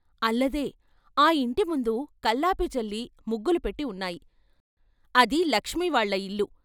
అల్లదే ఆ ఇంటి ముందు కల్లాపి చల్లి ముగ్గులు పెట్టి ఉన్నాయి అది లక్ష్మి వాళ్ళ ఇల్లు.